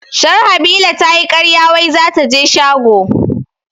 Sharhabila tayi karya wai zataje shago